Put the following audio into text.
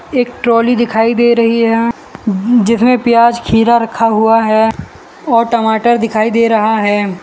एक ट्रोली दिखाई दे रही है जिसमें प्याज़ खीरा रखा हुआ है और टमाटर दिखाई दे रहा है।